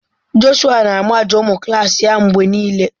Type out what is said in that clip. Jọshụa na-amaja ụmụ klas ya mgbe niile.